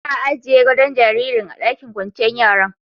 Za'a ajie godo'n jaririn a'ɗakin kwanciyar yaran.